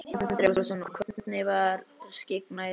Andri Ólafsson: Og hvernig var skyggnið?